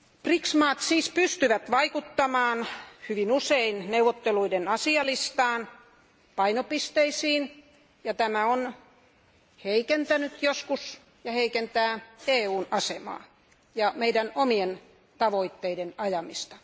BRICS maat siis pystyvät vaikuttamaan hyvin usein neuvotteluiden asialistaan ja painopisteisiin, ja tämä on heikentänyt joskus EUn asemaa ja meidän omien tavoitteidemme ajamista.